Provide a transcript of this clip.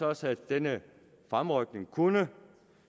også at denne fremrykning kunne